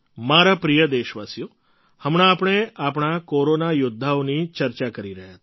મારા પ્રિય દેશવાસીઓ હમણાં આપણે આપણા કોરોના યૌદ્ધાઓની ચર્ચા કરી રહ્યા હતા